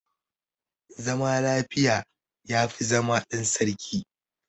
Zama lafiya ya fi zama ɗan sarki.